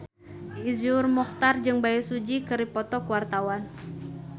Iszur Muchtar jeung Bae Su Ji keur dipoto ku wartawan